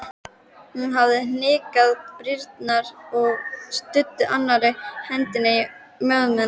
Hún hafði hnyklað brýnnar og studdi annarri hendinni á mjöðmina.